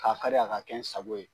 Ka kari a ka kɛ n sago ye.